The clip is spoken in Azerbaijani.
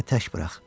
Məni tək burax.